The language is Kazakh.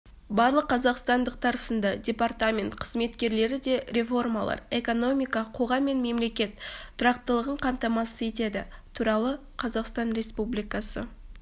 барлық қазақстандықтар сынды департамент қызметкерлеріде реформалар экономика қоғам мен мемлекет тұрақтылығын қамтамасыз етеді туралы казақстан республикасы